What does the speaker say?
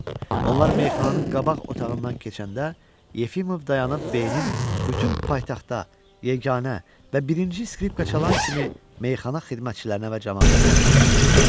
Onlar meyxananın qabaq otağından keçəndə Yefimov dayanıb B-nin bütün paytaxtda yeganə və birinci skripka çalan kimi meyxana xidmətçilərinə və camaata təqdim edir.